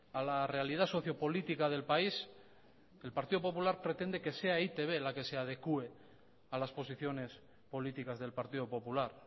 a la realidad socio política del país el partido popular pretende que sea e i te be la que se adecue a las posiciones políticas del partido popular